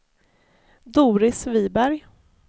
Doris Viberg